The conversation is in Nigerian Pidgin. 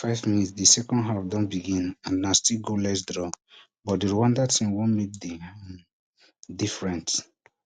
five mins di second half don begin and na still goalless draw but di rwanda team wan make di um different